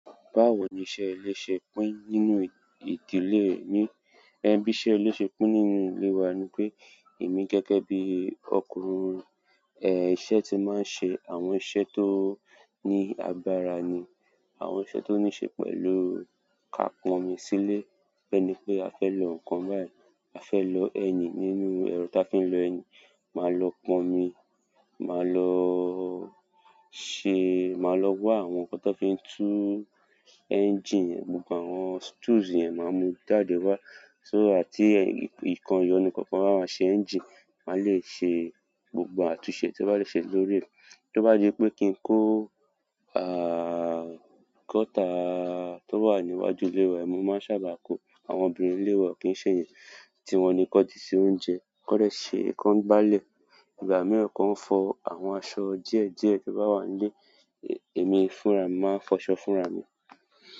Báwo ni iṣẹ́ ilé ṣe pín nínú ìdílé yín? Ẹ bí iṣẹ́ ilé ṣe pín nínú ilé wa ni pé èmi gẹ́gẹ́ bí ọkùnrin, ẹ́ iṣẹ́ ti máa ń ṣe àwọn iṣẹ́ tó ní agbára ni, àwọn iṣẹ́ tó ní ṣe pẹ̀lú ká pọnmi sile, bẹ́ẹ́ ni pé a fẹ́ lọ ǹkan báyìí, a fẹ́ lọ ẹyin nínú ẹro ta fi ń lọ ẹyin, màá lọ pọnmi, màá lọ ṣe, màá lọ wá àwọn ǹkan tan fi ń tu ẹ́ńjíìnì, gbogbo àwọn stools yẹn màá mú jáde wá. So tí nkàn ìyọnu kankan bá máa ṣe ẹ́ńjíìnì, màá le ṣe gbogbo àtúnṣe tí mo bá lè ṣe lórí rẹ̀. Tí ó bá di pé kí n kó àá, gọ́tà tó wà níwájú ilé wa, mo máa ń sábà kó. Àwọn obìnrin ilé wa kì ń ṣe èyí, tí wọ́n ni kan ti se oúnjẹ, kan dẹ̀ ṣe, kan gbalẹ̀. Ìgbà miran kan fò àwọn asọ díẹ̀ díẹ̀ to ba wa nile, èmi fún ra mi mo ma n fo asọ fún rà mi.